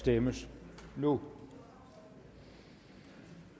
stemmes nu vi